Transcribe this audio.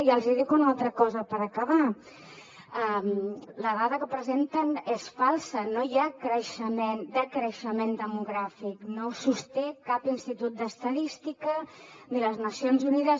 i els dic una altra cosa per acabar la dada que presenten és falsa no hi ha decreixement demogràfic no ho sosté cap institut d’estadística ni les nacions unides